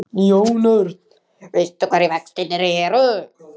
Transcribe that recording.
Jón Örn: Veistu hverjir vextirnir eru?